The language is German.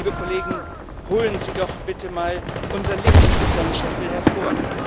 Liebe Kollegen, holen Sie doch bitte mal unser Licht unterm Scheffel hervor!